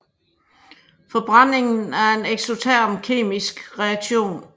Forbrændingen er en eksoterm kemisk reaktion